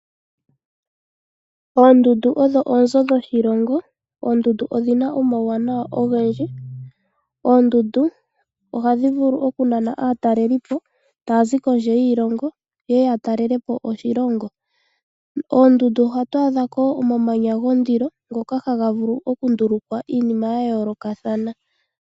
Oondundu odho oonzo dhoshilongo. Oondundu odhi na omauwanawa ogendji. Oondundu ohadhi vulu oku nana aatalelipo ta ya zi kondje yiilongo ye ye ya talelepo oshilongo. Koondundu ohatu adha ko imamanya gondilo ngoka ha ga vulu oku ndulukwa iinima ya yoolokathana.